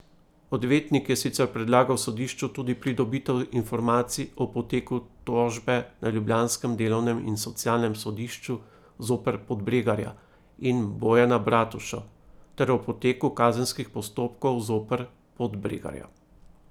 Odvetnik je sicer predlagal sodišču tudi pridobitev informacij o poteku tožbe na ljubljanskem delovnem in socialnem sodišču zoper Podbregarja in Bojana Bratušo ter o poteku kazenskih postopkov zoper Podbregarja.